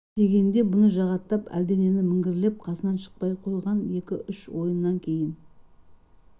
дегенде бұны жағаттап әлденен міңгірлеп қасынан шықпай қойған екі-үш ойыннан кейін